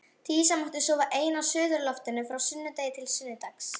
Dísa mátti sofa ein á suðurloftinu frá sunnudegi til sunnudags.